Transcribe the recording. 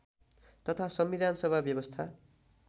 तथा संविधानसभा व्यवस्था